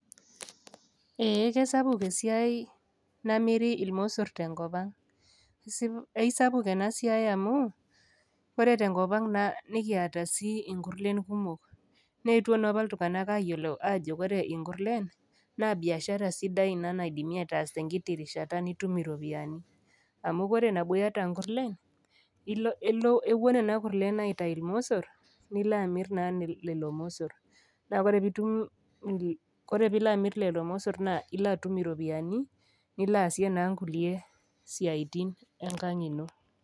Ee kesapuk esia namiri ilosor te enkop ang', aisapuk ena siai amu, ore te enkop aang' nekiata sii inkurlen kumok, neetwo naa opa iltung'ana ayiolo ajo ore inkurlen, naa [c] biashara ina niindim ataasa oltung'ani te enkiti rishata rishata nitum iropiani, amu ore nabo iata inkurlen, ewuo nena kurlrn aitayu ilmosor, nilo aamir naa lelo mosor, naa ore pee itum ore pee ilo amir lelo mosor naa ilo atum naa iropiani milo aasie naa inkulie siaitin enkang' ino.